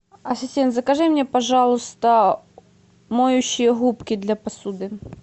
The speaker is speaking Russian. ассистент закажи мне пожалуйста моющие губки для посуды